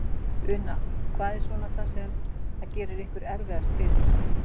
Una: Hvað er svona það sem að gerir ykkur erfiðast fyrir?